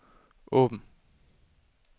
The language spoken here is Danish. åben